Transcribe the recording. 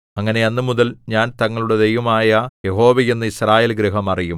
അങ്ങനെ അന്നുമുതൽ ഞാൻ തങ്ങളുടെ ദൈവമായ യഹോവയെന്ന് യിസ്രായേൽഗൃഹം അറിയും